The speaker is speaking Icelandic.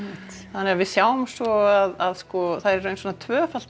þannig að við sjáum svo að það er í raun svona tvöfalt